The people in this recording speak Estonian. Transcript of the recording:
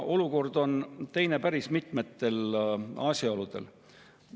Olukord on teine päris mitmete asjaolude tõttu.